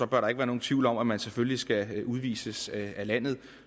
bør der ikke være nogen tvivl om at man selvfølgelig skal udvises af landet